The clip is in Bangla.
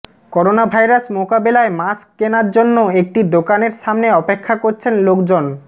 করোনাভাইরাস মোকাবেলায় মাস্ক কেনার জন্য একটি দোকানের সামনে অপেক্ষা করছেন লোকজন